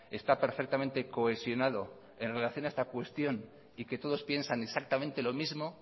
está perfectamente cohesionado en relación a esta cuestión y que todos piensan exactamente lo mismo